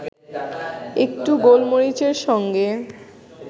একটু গোলমরিচের সঙ্গে